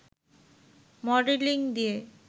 modelling দিয়ে